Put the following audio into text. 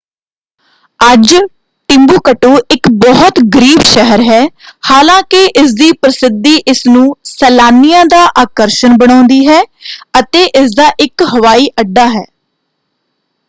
ਅੱਜ ਟਿੰਬੂਕਟੂ ਇੱਕ ਬਹੁਤ ਗਰੀਬ ਸ਼ਹਿਰ ਹੈ ਹਾਲਾਂਕਿ ਇਸਦੀ ਪ੍ਰਸਿੱਧੀ ਇਸਨੂੰ ਸੈਲਾਨੀਆਂ ਦਾ ਆਕਰਸ਼ਣ ਬਣਾਉਂਦੀ ਹੈ ਅਤੇ ਇਸਦਾ ਇੱਕ ਹਵਾਈ ਅੱਡਾ ਹੈ।